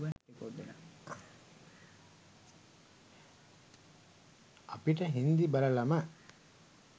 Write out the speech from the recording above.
අපිට හින්දි බලලම